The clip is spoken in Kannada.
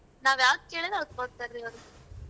ನಾವ್ ಯಾವ್ದ್ ಕೇಳಿದ್ರ ಅದು ಕೊಡ್ತಾರೀ ಅವ್ರು .